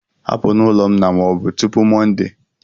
Hapụ n'ụlọ m na ma ọ bụ tupu Monday!